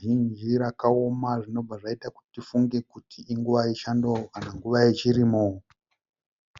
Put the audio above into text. zhinji rakaoma zvinobva zvaita kuti tifunge kuti inguva yechando kana nguva yechirimo.